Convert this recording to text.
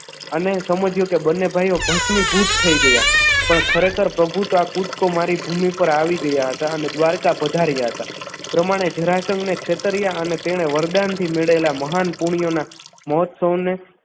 અને સમજ્યો કે બંને ભાઈઓ ભસ્મીભૂત થઈ ગયા પણ ખરેખર પ્રભુ તો કૂદકો મારી ભૂમિ પર આવી ગયા હતા અને દ્વારકા પધાર્યા હતા. પ્રમાણે જરાસંઘને છેતર્યા અને તેણે વરદાનથી મેળવેલા મહાન પુણ્યના મહોત્સવને